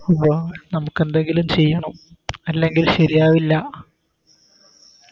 ബാ നമക്കെന്തെങ്കിലും ചെയ്യണം അല്ലെങ്കിൽ ശരിയാവൂല